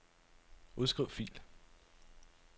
Udskriv fil.